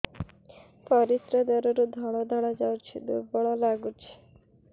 ପରିଶ୍ରା ଦ୍ୱାର ରୁ ଧଳା ଧଳା ଯାଉଚି ଦୁର୍ବଳ ଲାଗୁଚି